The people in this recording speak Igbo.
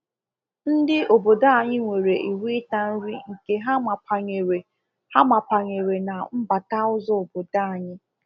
Ndị obdo anyị nwere iwu ịta nri nke ha mapanyere ha mapanyere na mbata ụzọ obodo anyị